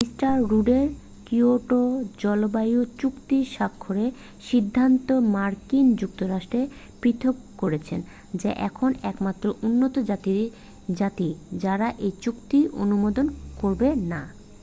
mister রুডের Kyoto জলবায়ু চুক্তি স্বাক্ষরের সিদ্ধান্ত মার্কিন যুক্তরাষ্ট্রকে পৃথক করেছে যা এখন একমাত্র উন্নত জাতি যারা এই চুক্তি অনুমোদন করবে না